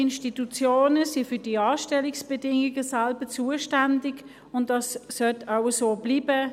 Die Institutionen sind für die Anstellungsbedingungen selber zuständig, und das sollte auch so bleiben.